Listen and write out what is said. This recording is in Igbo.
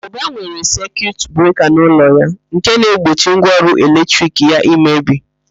Ụba nwere sekiut breka n'ụlọ ya nke na-egbochi ngwaọrụ eletrik ya imebi.